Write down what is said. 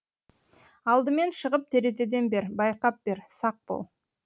алдымен шығып терезеден бер байқап бер сақ бол